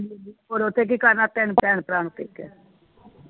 ਹੁਣ ਉਥੇ ਕੀ ਕਰਨਾ ਤਿੰਨ ਭਰਾ ਨੂੰ ।